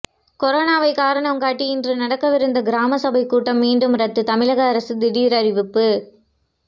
கொரோனாவை காரணம் காட்டி இன்று நடக்கவிருந்த கிராம சபை கூட்டம் மீண்டும் ரத்து தமிழக அரசு திடீர் அறிவிப்பு